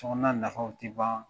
Sokɔnɔna nafaw tɛ ban